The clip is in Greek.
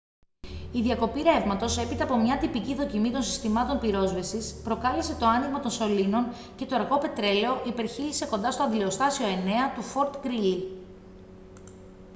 η διακοπή ρεύματος έπειτα από μια τυπική δοκιμή των συστημάτων πυρόσβεσης προκάλεσε το άνοιγμα των σωλήνων και το αργό πετρέλαιο υπερχείλισε κοντά στο αντλιοστάσιο 9 του fort greely